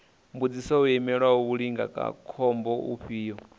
mbudziso vho imela mulindakhombo ufhio